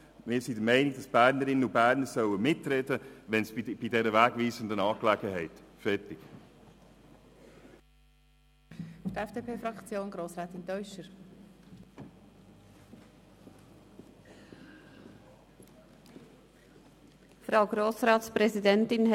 Das kann ich vorwegnehmen: Wir sind der Meinung, dass die Bernerinnen und Berner bei dieser wegweisenden Angelegenheit sollen mitreden können.